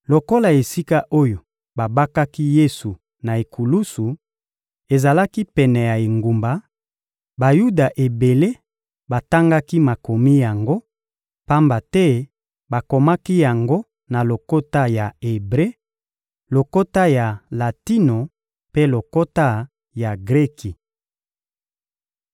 Lokola esika oyo babakaki Yesu na ekulusu ezalaki pene ya engumba, Bayuda ebele batangaki makomi yango, pamba te bakomaki yango na lokota ya Ebre, lokota ya latino mpe lokota ya Greki.